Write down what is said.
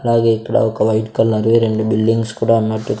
అలాగే ఇక్కడ ఒక వైట్ కలర్ వి రెండు బిల్డింగ్స్ కూడా ఉన్నట్టు--